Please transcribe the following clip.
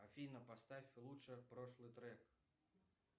афина поставь лучше прошлый трек